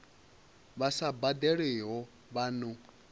vha sa badelwiho vha no